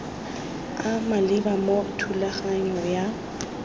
a maleba mo thulaganyong ya